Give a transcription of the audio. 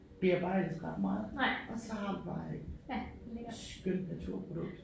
Bearbejdes ret meget og så har man bare et skøn naturprodukt